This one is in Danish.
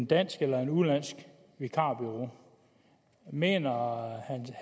dansk eller et udenlandsk vikarbureau mener herre